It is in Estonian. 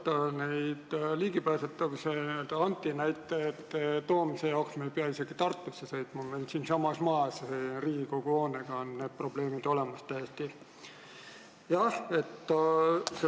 Tõepoolest, nende ligipääsetavuse antinäidete toomise jaoks ei pea isegi Tartusse sõitma, siinsamas majas, Riigikogu hoones, on need probleemid täiesti olemas.